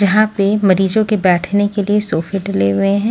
जहां पे मरीजों के बैठने के लिए सोफ़े डले हुए हैं।